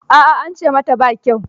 A'a an ce mata ba kyau.